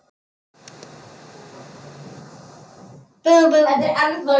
Skellir síðan á.